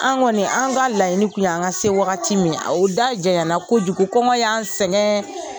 An kɔni an ka laɲini kun ye an ka se wagati min o da jɛyana kojugu kɔngɔ y'an sɛgɛn.